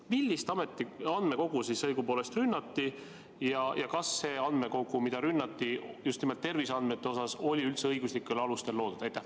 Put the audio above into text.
Millist andmekogu siis õigupoolest rünnati ja kas see andmekogu, mida rünnati, oli just nimelt terviseandmete mõttes üldse õiguslikel alustel loodud?